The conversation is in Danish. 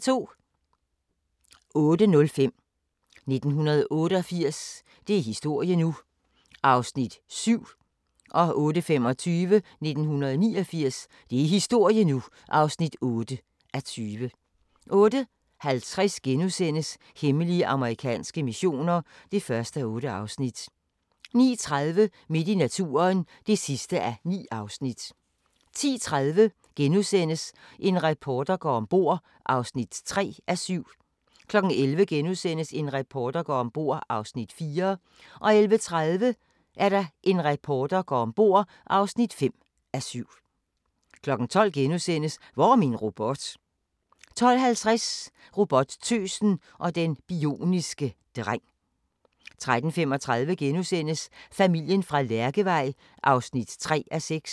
08:05: 1988 – det er historie nu! (7:20) 08:25: 1989 – det er historie nu! (8:20) 08:50: Hemmelige amerikanske missioner (1:8)* 09:30: Midt i naturen (9:9) 10:30: En reporter går om bord (3:7)* 11:00: En reporter går om bord (4:7)* 11:30: En reporter går om bord (5:7) 12:00: Hvor er min robot? * 12:50: Robottøsen og den bioniske dreng 13:35: Familien fra Lærkevej (3:6)*